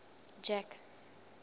jack